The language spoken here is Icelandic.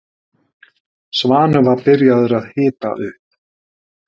Svanur var byrjaður að hita upp.